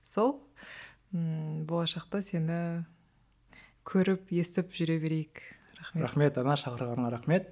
сол ммм болашақта сені көріп естіп жүре берейік рахмет рахмет анар шақырғаныңа рахмет